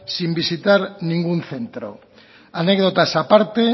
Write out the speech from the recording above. sin visitar ningún centro anécdotas aparte